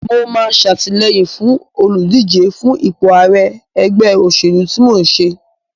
Mo máa ṣatìlẹyìn fún olùdíje fún ipò ààrẹ ẹgbẹ́ òṣèlú tí mò ń ṣe.